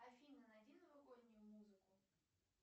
афина найди новогоднюю музыку